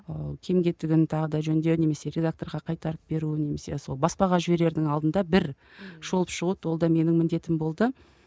ыыы кем кетігін тағы да жөндеу немесе редакторға қайтарып беру немесе сол баспаға жіберердің алдында бір шолып шығу ол да менің міндетім болды